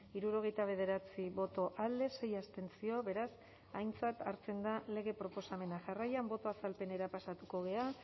hirurogeita bederatzi boto alde sei abstentzio beraz aintzat hartzen da lege proposamena jarraian boto azalpenera pasatuko gara